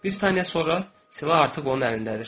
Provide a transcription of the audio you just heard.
Bir saniyə sonra silah artıq onun əlindədir.